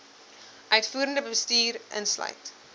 uitvoerende bestuur insluit